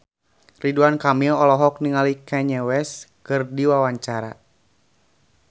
Ridwan Kamil olohok ningali Kanye West keur diwawancara